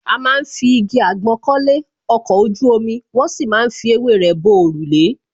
A má ń fi igi àgbọn kọ́lé, ọkọ̀ ojú omi, wón sì má ń fi ewé rẹ bo òrùlé